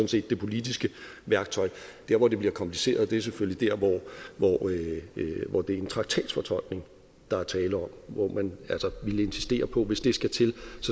set det politiske værktøj der hvor det bliver kompliceret er selvfølgelig der hvor det er en traktatsfortolkning der er tale om hvor man altså vil insistere på hvis det skal til